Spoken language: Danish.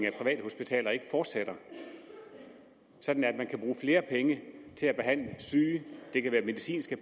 af private hospitaler ikke fortsætter sådan at man kan bruge flere penge til at behandle syge det kan være medicinske